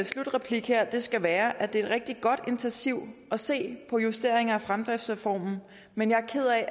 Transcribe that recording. slutreplik her skal være at det er et rigtig godt initiativ at se på justeringer af fremdriftsreformen men jeg